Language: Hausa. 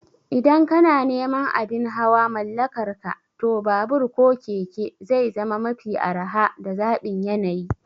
Idan kana neman abin hawa mallakarka, to babur ko keke zai zama mafi araha da zaɓin yanayi